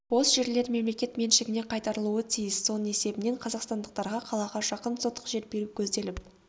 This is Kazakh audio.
бос жерлер мемлекет меншігіне қайтарылуы тиіс соның есебінен қазақстандықтарға қалаға жақын сотық жер беру көзделіп